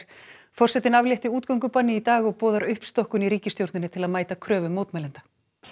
forsetinn aflétti útgöngubanni í dag og boðar uppstokkun í ríkisstjórninni til að mæta kröfum mótmælenda